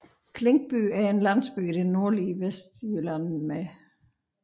Klinkby er en landsby i det nordlige Vestjylland med